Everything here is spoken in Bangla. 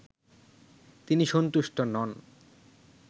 তিনি সন্তুষ্ট নন